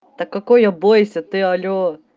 так какой я бойся ты алло